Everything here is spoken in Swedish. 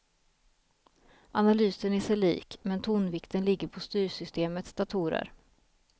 Analysen är sig lik, men tonvikten ligger på styrsystemets datorer.